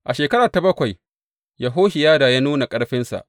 A shekara ta bakwai Yehohiyada ya nuna ƙarfinsa.